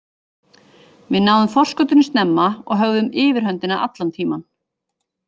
Við náðum forskotinu snemma og höfðum yfirhöndina allan tímann.